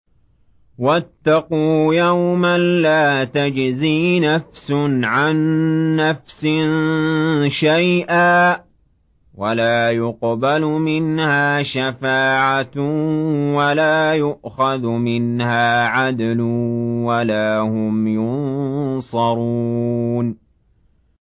وَاتَّقُوا يَوْمًا لَّا تَجْزِي نَفْسٌ عَن نَّفْسٍ شَيْئًا وَلَا يُقْبَلُ مِنْهَا شَفَاعَةٌ وَلَا يُؤْخَذُ مِنْهَا عَدْلٌ وَلَا هُمْ يُنصَرُونَ